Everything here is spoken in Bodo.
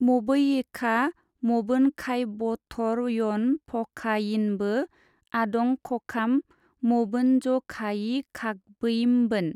मबैयिखा मबोनखायबथरयनफखायिनबो ओदंखखाम मबोनजखायिखाखबैमबोन।